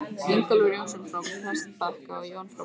Ingólfur Jónsson frá Prestbakka og Jón frá Pálmholti.